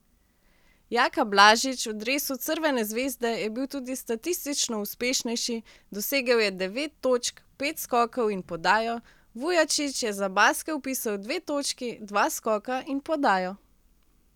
Jaka Blažič v dresu Crvene zvezde je bil tudi statistično uspešnejši, dosegel je devet točk, pet skokov in podajo, Vujačić je za Baske vpisal dve točki, dva skoka in podajo.